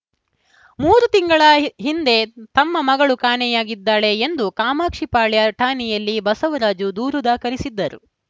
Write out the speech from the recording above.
ಮೂರು ತಿಂಗಳ ಹಿ ಹಿಂದೆ ತಮ್ಮ ಮಗಳು ಕಾಣೆಯಾಗಿದ್ದಾಳೆ ಎಂದು ಕಾಮಾಕ್ಷಿಪಾಳ್ಯ ಠಾಣೆಯಲ್ಲಿ ಬಸವರಾಜು ದೂರು ದಾಖಲಿಸಿದ್ದರು